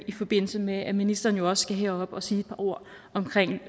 i forbindelse med at ministeren jo også skal herop og sige et par ord omkring